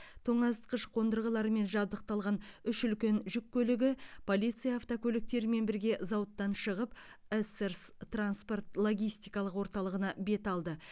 тоңазытқыш қондырғылармен жабдықталған үш үлкен жүк көлігі полиция автокөліктерімен бірге зауыттан шығып эссерс транспорт логистикалық орталығына бет алды